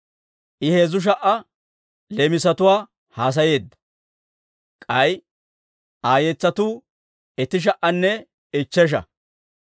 I heezzu sha"a leemisatwaa haasayeedda; k'ay Aa yetsatuu itti sha"anne ichchesha.